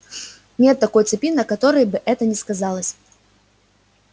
нет такой цепи на которой бы это не сказалось